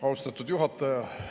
Austatud juhataja!